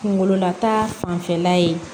Kunkololata fanfɛla ye